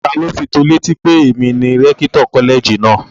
Taló fi tó ọ létí pé èmi ni rẹ́kítọ̀ kọ́lẹ̀jì náà?